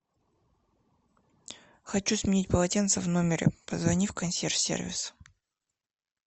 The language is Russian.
хочу сменить полотенце в номере позвони в консьерж сервис